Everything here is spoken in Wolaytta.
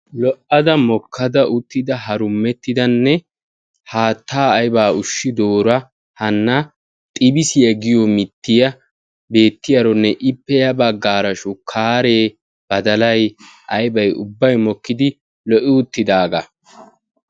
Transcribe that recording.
lo'ada mokkada uttida harumettidanne haataa aybbaa ushidoora hana xibissiya giyo mittiya beetiyaaronne ippe ya bagaara shukaare badallay aybay ubbay mokkidi lo'i uttidaagaa.